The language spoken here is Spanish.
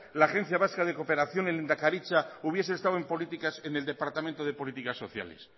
la agencia vasca de cooperación en lehendakaritza hubiese estado en políticas en el departamento de políticas sociales